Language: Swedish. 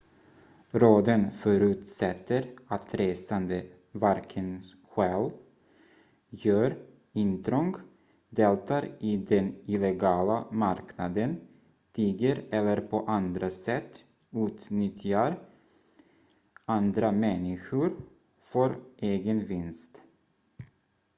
råden förutsätter att resande varken stjäl gör intrång deltar i den illegala marknaden tigger eller på andra sätt utnyttjar andra människor för egen vinst